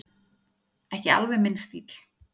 Ekki alveg minn stíll